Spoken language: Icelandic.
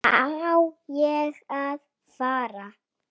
Á ég að fara?